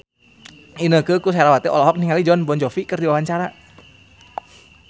Inneke Koesherawati olohok ningali Jon Bon Jovi keur diwawancara